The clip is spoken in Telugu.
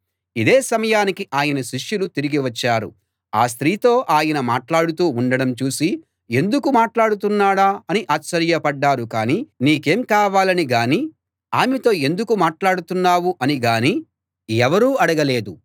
ఇదే సమయానికి ఆయన శిష్యులు తిరిగి వచ్చారు ఆ స్త్రీతో ఆయన మాట్లాడుతూ ఉండడం చూసి ఎందుకు మాట్లాడుతున్నాడా అని ఆశ్చర్యపడ్డారు కానీ నీకేం కావాలని గానీ ఆమెతో ఎందుకు మాట్లాడుతున్నావు అని గానీ ఎవరూ అడగలేదు